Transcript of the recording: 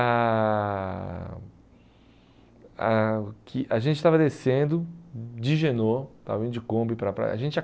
A aqui a gente estava descendo de Genoa, estava indo de Kombi para a praia. A gente